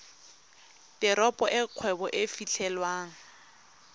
teropo e kgwebo e fitlhelwang